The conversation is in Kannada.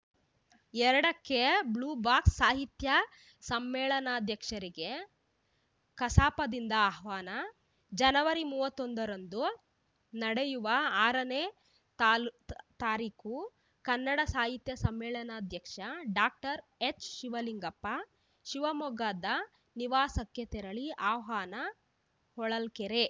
ಎರಡಕ್ಕೆಬ್ಲ್ಯೂಬಾಕ್ಸ್‌ಸಾಹಿತ್ಯ ಸಮ್ಮೇಳನಾಧ್ಯಕ್ಷರಿಗೆ ಕಸಾಪದಿಂದ ಆಹ್ವಾನ ಜನವರಿ ಮೂವತ್ತೊಂದರಂದು ನಡೆಯುವ ಆರನೇ ತಾಲೂತ್ ತಾರೀಕು ಕನ್ನಡ ಸಾಹಿತ್ಯ ಸಮ್ಮೇಳನಾಧ್ಯಕ್ಷ ಡಾಕ್ಟರ್ ಎಚ್‌ಶಿವಲಿಂಗಪ್ಪ ಶಿವಮೊಗ್ಗದ ನಿವಾಸಕ್ಕೆ ತೆರಳಿ ಆಹ್ವಾನ ಹೊಳಲ್ಕೆರೆ